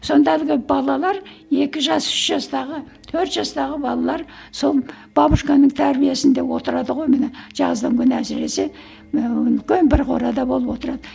сонда әлгі балалар екі жас үш жастағы төрт жастағы балалар сол бабушканың тәрбиесінде отырады ғой міне жаздың күні әсіресе ііі үлкен бір қорада болып отырады